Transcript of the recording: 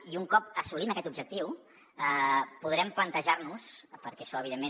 i un cop assolim aquest objectiu podrem plantejar nos perquè això evidentment